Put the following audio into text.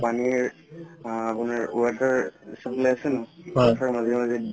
পানিৰ আ আপোনাৰ water supply আছে তাৰ মাজে মাজে